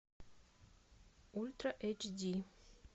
ультра эйч ди